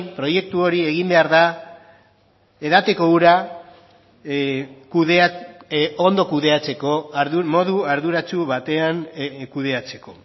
proiektu hori egin behar da edateko ura ondo kudeatzeko modu arduratsu batean kudeatzeko